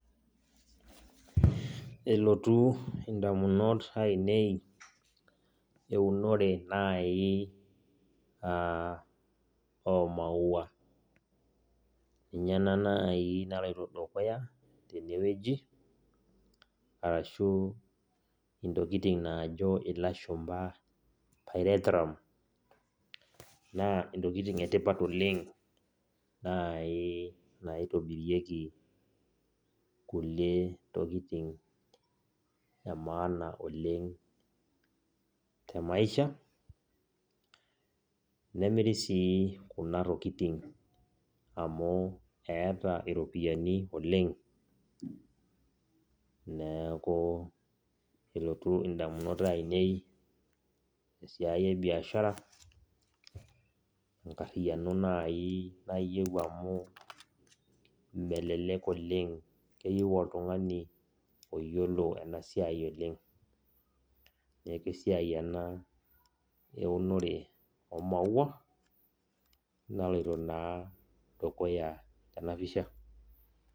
Eleotu indamunot ainei eunore nai ah omaua. Ninye ena nai naloito dukuya tenewueji, arashu intokiting najo ilashumpa pyrethrum. Naa intokiting etipat oleng nai naitobirieki inkulie tokiting emaana oleng temaisha, nemiri si kuna tokiting amu eeta iropiyiani oleng. Neeku elotu indamunot ainei esiai ebiashara, enkarriyiano nai nayieu amu melelek oleng, keyieu oltung'ani oyiolo enasiai oleng. Neeku esiai ena eunore omaua, naloito naa dukuya tenapisha.